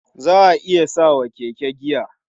Za a iya sa wa keke giya.